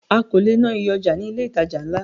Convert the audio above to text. A ò le ná iye ọjà ní ilé ìtajà ńlá.